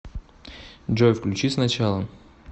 джой включи с начала